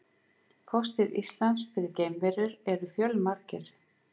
Kostir Íslands fyrir geimverur eru fjölmargir.